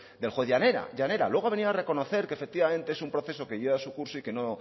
del juez llanera luego ha venido a reconocer que efectivamente es un proceso que lleva su curso y que no